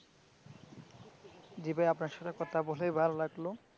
জি ভাই আপনার সাথে কথা বলে ভালো লাগলো।